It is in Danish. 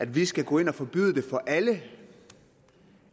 vi skal gå ind og forbyde det for alle